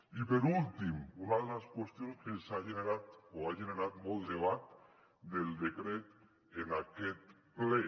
i per últim una de les qüestions que ha generat molt debat del decret en aquest ple